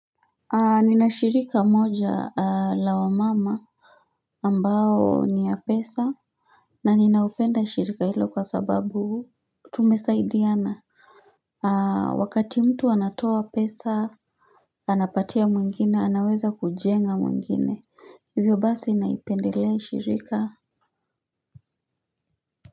Ninashirika moja la wa mama ambayo ni ya pesa. Na ninaupenda shirika hilo kwa sababu tumesaidiana. Wakati mtu anatoa pesa anapatia mwengine anaweza kujenga mwengine. Hivyo basi naipendelea shirika.